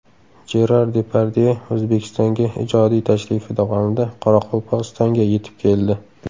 Jerar Depardye O‘zbekistonga ijodiy tashrifi davomida Qoraqalpog‘istonga yetib keldi.